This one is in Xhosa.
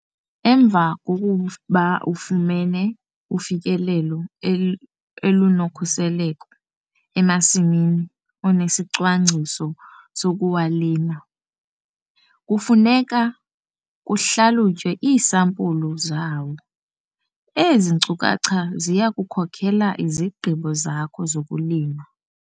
Emva kokuba ufumene ufikelelo olunokhuseleko emasimini onesicwangciso sokuwalima, kufuneka kuhlalutywe iisampulu zawo. Ezi nkcukacha ziya kukhokela izigqibo zakho zokulima.